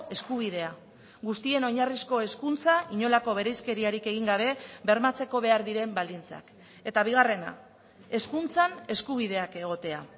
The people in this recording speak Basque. eskubidea guztien oinarrizko hezkuntza inolako bereizkeriarik egin gabe bermatzeko behar diren baldintzak eta bigarrena hezkuntzan eskubideak egotea